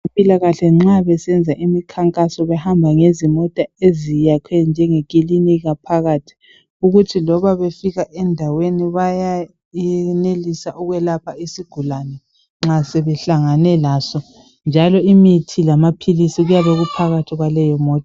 Abezempilakahle nxa besenza imikhankaso bahambe ngezimota eziyakhwe njengekilinika phakathi ukuthi loba befika endaweni bayayenelisa ukwelapha isigulane nxa sebehlangane laso njalo imithi lamaphilisi kuyabe kuphakathi kwaleyomota